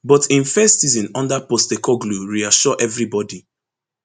but im first season under postecoglou reassure evribodi